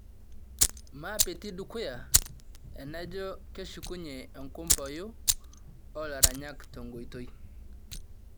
maapiti dukuya''enaijo keshukunye enkumpoyu oo laranyak tenkoitoi